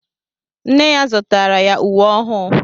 Nne ya zụtara ya uwe ọhụụ